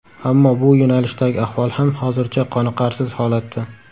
Ammo bu yo‘nalishdagi ahvol ham hozircha qoniqarsiz holatda.